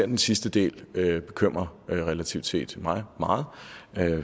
den sidste del bekymrer relativt set mig meget